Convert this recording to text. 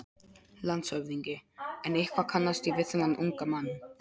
LANDSHÖFÐINGI: En eitthvað kannast ég við þennan unga mann.